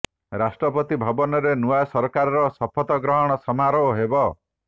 ରାଷ୍ଟ୍ରପତି ଭବନରେ ନୂଆ ସରକାରର ଶପଥ ଗ୍ରହଣ ସମାରୋହ ହେବ